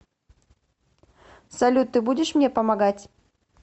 салют ты будешь мне помогать